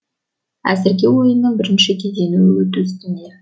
әзірге ойынның бірінші кезеңі өту үстінде